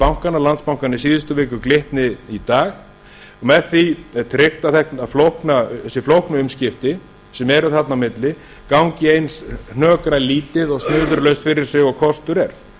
bankana landsbankann í síðustu viku glitni í dag með því er tryggt að þessi flóknu umskipti sem eru þarna á milli gangi eins hnökralítið og snurðulaust fyrir sig og kostur er